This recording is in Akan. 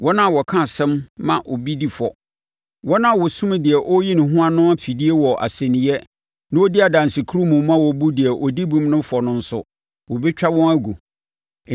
Wɔn a wɔka asɛm ma obi di fɔ, wɔn a wɔsum deɛ ɔreyi ne ho ano afidie wɔ asɛnniiɛ na wɔdi adansekurumu ma wɔbu deɛ ɔdi bem no fɔ no nso, wɔbɛtwa wɔn agu.